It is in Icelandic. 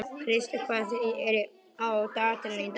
Kristrós, hvað er á dagatalinu í dag?